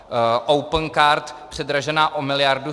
Opencard předražená o miliardu.